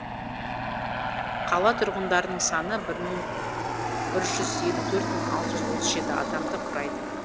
қала тұрғындарының саны бір жүз елі төрт мың алты жүз отыз жеті адамды құрайды